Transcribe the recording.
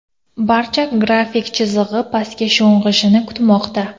Barcha grafik chizig‘i pastga sho‘ng‘ishini kutmoqda.